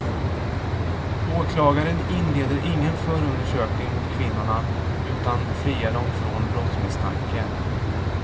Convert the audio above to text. Åklagaren inleder ingen förundersökning mot kvinnorna utan friar dem från brottsmisstanke.